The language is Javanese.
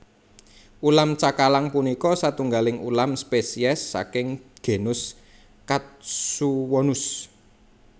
Ulam cakalang punika satunggaling ulam spesies saking genus Katsuwonus